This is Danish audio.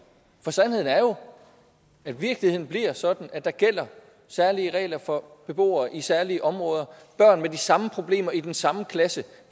for sandheden er jo at virkeligheden bliver sådan at der gælder særlige regler for beboere i særlige områder børn med de samme problemer i den samme klasse